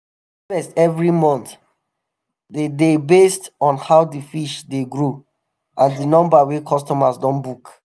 the harvest evri month de dey based on how di fish dey grow and di number wey customers don book.